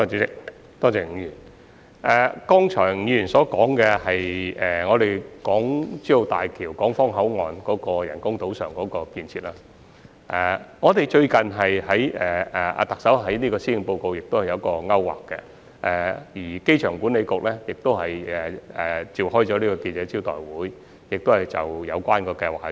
吳議員剛才所說的是大橋港方口岸的人工島上的設施，特首最近在施政報告中已有所提及，而機場管理局亦已召開記者招待會，公布有關的計劃。